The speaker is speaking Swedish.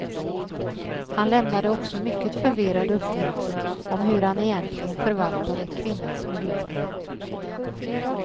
Han lämnade också mycket förvirrade uppgifter om hur han egentligen förvaltade kvinnans miljoner.